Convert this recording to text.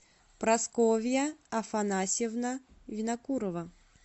прасковья афанасьевна винокурова